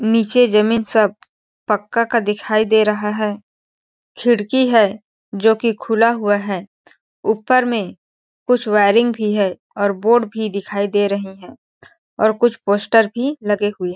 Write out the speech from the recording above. नीचे जमीन सब पक्का का दिखाई दे रहा है खिड़की है जो कि खुला हुआ है ऊपर में कुछ वायरिंग भी है और बोर्ड भी दिखाई दे रहे है और कुछ पोस्टर भी लगे हुए है।